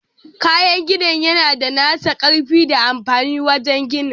Kayan gini yana da nasa ƙarfi da amfani wajen ginin.